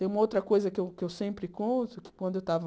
Tem uma outra coisa que eu que eu sempre conto, que quando eu estava...